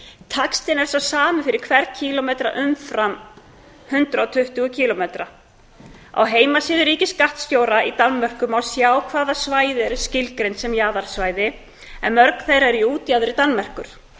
taxtinn er sá sami fyrir hvern kílómetra umfram hundrað og tuttugu kílómetra á heimasíðu ríkisskattstjóra í danmörku má sjá hvaða svæði eru skilgreind sem jaðarsvæði en mörg þeirra eru í útjaðri danmerkur